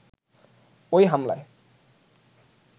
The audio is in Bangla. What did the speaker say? ওই হামলায়